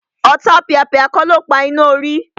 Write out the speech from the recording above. Ọ̀tapìàpìà kọ́ ló pa iná orí